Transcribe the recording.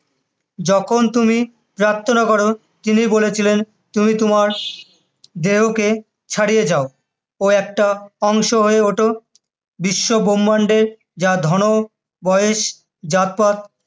যখন তুমি পপ্রার্থনা করো, তিনি বলেছিলেন তুমি তোমার দেহকে ছাড়িয়ে যাও ও একটা অংশ হয়ে ওঠো বিশ্বব্রম্ভান্ডের যা ধন, বয়স, জাতপাত